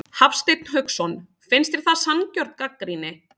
Hafsteinn Hauksson: Finnst þér það sanngjörn gagnrýni?